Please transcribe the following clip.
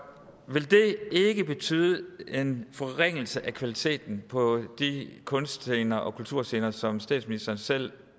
vil det ikke betyde en forringelse af kvaliteten på de kunstscener og kulturscener som statsministeren selv